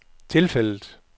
tilfældet